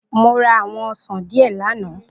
Mo ra àwọn ọsàn díẹ̀ lánàá